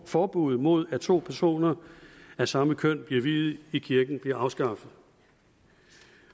forbudet mod at to personer af samme køn bliver viet i kirken bliver afskaffet